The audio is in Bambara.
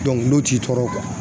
n'o t'i tɔɔrɔ